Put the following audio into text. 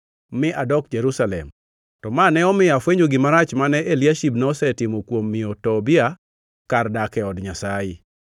mi adok Jerusalem. To ma ne omiyo afwenyo gima rach mane Eliashib nosetimo kuom miyo Tobia kar dak e od Nyasaye.